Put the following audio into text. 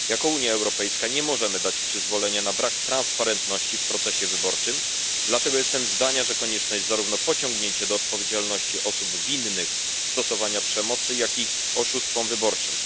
Unia Europejska nie może dać przyzwolenia na brak przejrzystości w procesie wyborczym, dlatego jestem zdania, że konieczne jest pociągnięcie do odpowiedzialności osób winnych stosowania przemocy i oszustw wyborczych.